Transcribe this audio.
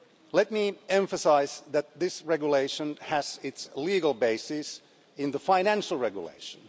Let me emphasise that this regulation has its legal basis in the financial regulation.